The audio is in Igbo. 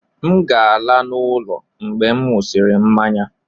M ga-ala n'ụlọ mgbe m ṅụsịrị mmanya.